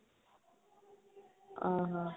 ଓ ହୋ